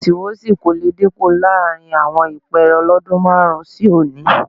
Wọ̀sìwọ́sì kò le dínkù láàrin àwọn ìpẹ́ẹ́rẹ́ lọ́dún márùn-ún sí òní